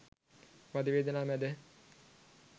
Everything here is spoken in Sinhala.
වධවේදනා මැද